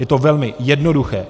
Je to velmi jednoduché.